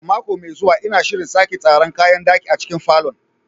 A mako mai zuwa, ina shirin sake tsara kayan ɗaki a cikin falon.